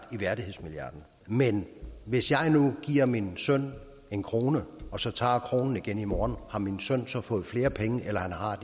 i værdighedsmilliard men hvis jeg nu giver min søn en kroner og så tager kronen igen i morgen har min søn så fået flere penge eller har